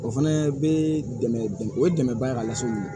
O fana bɛ dɛmɛ o ye dɛmɛba ka lasegin